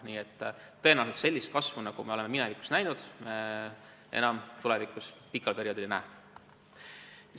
Nii et sellist kasvu, nagu oleme minevikus näinud, me tõenäoliselt tulevikus enam pikal perioodil ei näe.